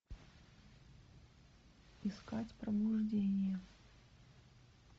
искать пробуждение